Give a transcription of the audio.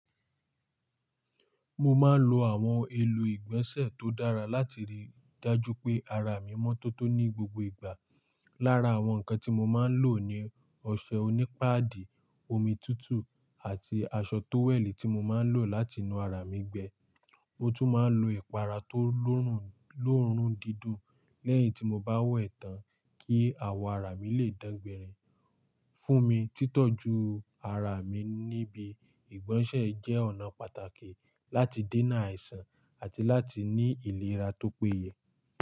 Mo máa ń lo àwọn èlò ìgbọ̀nsẹ̀ tó dára láti rí i dájú pé ara mi mọ́ tótó ní gbogbo ìgbà. Lára àwọn nǹkan tí mo máa ń lò ni ọṣẹ onípadì, omi tútù, àti aṣọ tówẹ̀lì tí mo máa ń lò láti nu ara mi gbẹ. Mo tún máa ń lo ẹ̀pàrà tó lóòrùn dídùn lẹ́yìn tí mo bá we tàn kí àwọ̀ ara mi lè dángbèrẹ́ fún mi títọ́jú ara mi níbi ìgbọ̀nsẹ̀ jẹ́ ọ̀nà pàtàkì láti dènà àìsàn àti láti ní ìlera tó péye.